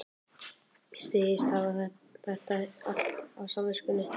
Segist hafa þetta allt á samviskunni.